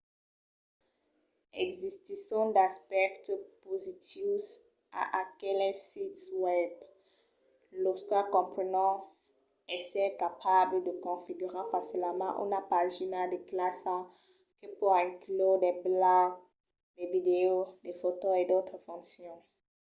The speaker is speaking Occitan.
existisson d'aspèctes positius a aqueles sits webs los quals comprenon èsser capable de configurar facilament una pagina de classa que pòt inclure de blògs de vidèos de fòtos e d'autras foncions